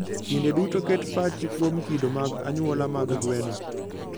Kinde duto ket pachi kuom kido mag anyuola mag gweno.